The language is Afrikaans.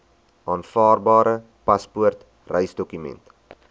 aanvaarbare paspoort reisdokument